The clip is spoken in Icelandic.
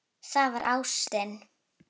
Það var ástin.